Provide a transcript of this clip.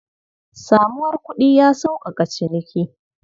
Samuwar kuɗi ya sauƙaƙa ciniki.